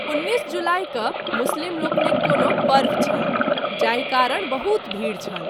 १९ जुलाई क’ मुस्लिम लोकनिक कोनो पर्व छल जाहि कारण बहुत भीड़ छल।